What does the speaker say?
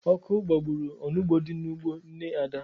Ọkụ gbagburu onugbu dị n'ugbo nne Ada.